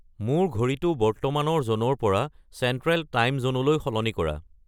মোৰ ঘড়ীটো বৰ্তমানৰ জ'নৰ পৰা চেণ্ট্ৰে'ল টাইম জ'নলৈ সলনি কৰা